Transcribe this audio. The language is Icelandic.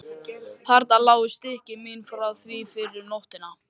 Þarna lágu stykki mín frá því fyrr um nóttina.